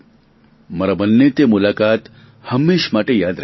મારા મનને તે મુલાકાત હંમેશ માટે યાદ રહેશે